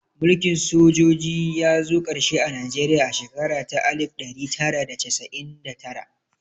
Mulkin sojoji ya zo ƙarshe a Najeriya a shekara ta alif ɗari tara da casa'in da tara